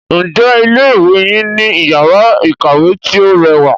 Ǹjẹ́ ilé ìwé yín ní iyàrá ìkàwé tí o rẹwà?